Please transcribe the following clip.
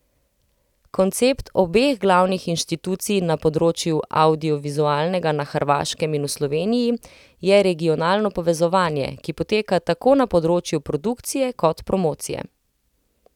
Koncept obeh glavnih inštitucij na področju avdiovizualnega na Hrvaškem in v Sloveniji je regionalno povezovanje, ki poteka tako na področju produkcije kot promocije.